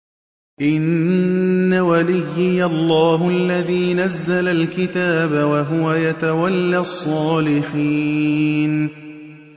إِنَّ وَلِيِّيَ اللَّهُ الَّذِي نَزَّلَ الْكِتَابَ ۖ وَهُوَ يَتَوَلَّى الصَّالِحِينَ